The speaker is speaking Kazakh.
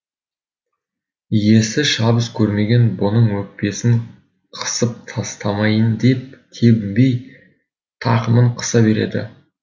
иесі шабыс кермеген бұның өкпесін қысып тастамайын деп тебінбей тақымын қыса береді